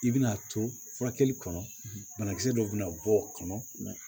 I bɛna to furakɛli kɔnɔ banakisɛ dɔ bɛna bɔ o kɔnɔ